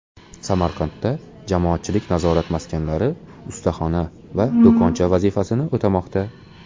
Samarqandda jamoatchilik nazorat maskanlari ustaxona va do‘koncha vazifasini o‘tamoqda.